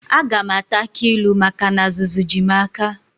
Aga m ata akị ilu maka na azụzụ ji m aka.